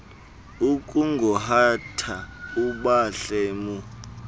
akungohata ubhadle mu